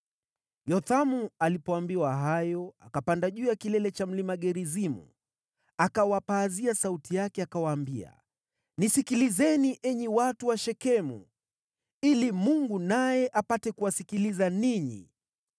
Yothamu alipoambiwa hayo, akapanda juu ya kilele cha mlima Gerizimu, akawapazia sauti yake akawaambia, “Nisikilizeni enyi watu wa Shekemu, ili Mungu naye apate kuwasikiliza ninyi.